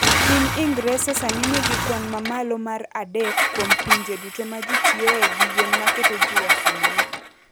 Piny Ingresa sani nigi kwan mamalo mar adek kuom pinje duto ma ji tiyoe gi yien maketo ji wasumbni.